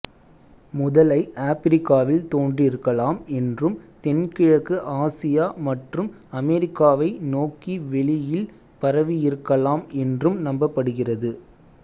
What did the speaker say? முதலை ஆப்பிரிக்காவில் தோன்றியிருக்கலாம் என்றும் தென்கிழக்கு ஆசியா மற்றும் அமெரிக்காவை நோக்கி வெளியில் பரவியிருக்கலாம் என்றும் நம்பப்படுகிறது